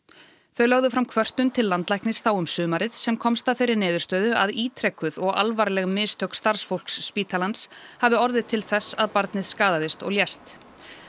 þau lögðu fram kvörtun til landlæknis þá um sumarið sem komst að þeirri niðurstöðu að ítrekuð og alvarleg mistök starfsfólks spítalans hafi orðið til þess að barnið skaðaðist og lést